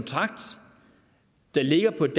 det er jo